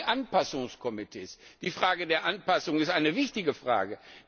Zum Beispiel die Anpassungskomitees Die Frage der Anpassung ist eine wichtige Frage.